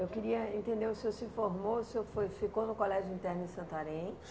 Eu queria entender, o senhor se formou, o senhor foi ficou no colégio interno em Santarém?